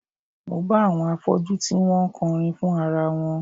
Mo bá àwọn afọ́jú tí wọ́n ń kọrin fún ara wọn